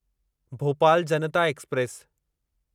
Bhopal Janata express